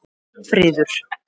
Friður